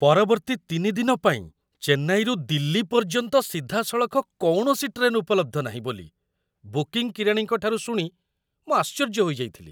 ପରବର୍ତ୍ତୀ ତିନି ଦିନ ପାଇଁ ଚେନ୍ନାଇରୁ ଦିଲ୍ଲୀ ପର୍ଯ୍ୟନ୍ତ ସିଧାସଳଖ କୌଣସି ଟ୍ରେନ୍ ଉପଲବ୍ଧ ନାହିଁ ବୋଲି ବୁକିଂ କିରାଣୀଙ୍କ ଠାରୁ ଶୁଣି ମୁଁ ଆଶ୍ଚର୍ଯ୍ୟ ହୋଇଯାଇଥିଲି।